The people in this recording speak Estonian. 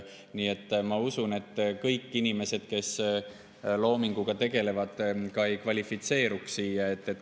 Nii et ma usun, et kõik inimesed, kes loominguga tegelevad, ka ei kvalifitseeruks.